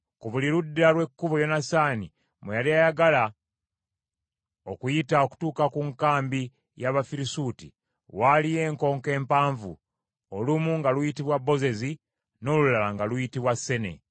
Ku buli ludda lw’ekkubo Yonasaani mwe yali ayagala okuyita okutuuka ku nkambi y’Abafirisuuti waaliyo enkonko empanvu, olumu nga luyitibwa Bozezi, n’olulala nga luyitibwa Sene.